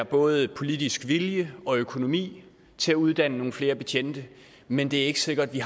både er politisk vilje og økonomi til at uddanne nogle flere betjente men det er ikke sikkert at vi